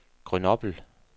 Grenoble